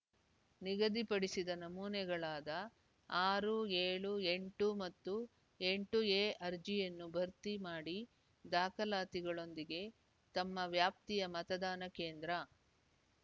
ನಿಗದಿಪಡಿಸಿದ ನಮೂನೆಗಳಾದ ಆರು ಏಳು ಎಂಟು ಮತ್ತು ಎಂಟು ಎ ಅರ್ಜಿಯನ್ನು ಭರ್ತಿ ಮಾಡಿದಾಖಲಾತಿಗಳೊಂದಿಗೆ ತಮ್ಮ ವ್ಯಾಪ್ತಿಯ ಮತದಾನ ಕೇಂದ್ರ